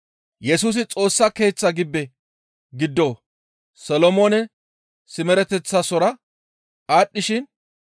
Yesusi Xoossa Keeththa gibbe giddon Solomoone simereteththasora aadhdhishin,